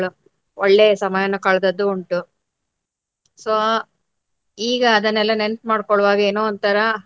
ಮಕ್ಕಳು ಒಳ್ಳೆಯ ಸಮಯನ್ನು ಕಳ್ದದ್ದು ಉಂಟು. So ಈಗ ಅದನ್ನೆಲ್ಲ ನೆನ್ಪ ಮಾಡ್ಕೊಳ್ವಾಗ ಏನೋ ಒಂಥರಾ.